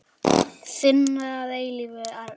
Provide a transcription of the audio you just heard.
Þinn að eilífu, Arnþór.